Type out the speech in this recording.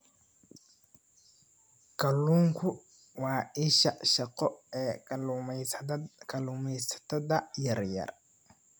Kalluunku waa isha shaqo ee kalluumaysatada yaryar.